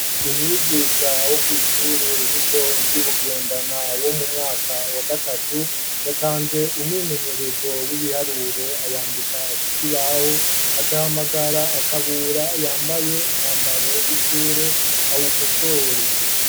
Umwigisha wo kw'ishure elito ry'ibugendana wo mu mwaka wa gatatu yatanze umwimenyerezo w'ibiharuro awandika ku koi bahu acahamagara akabura yambaye umwambaro w'ishure awouko sore.